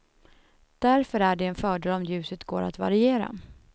Därför är det en fördel om ljuset går att variera.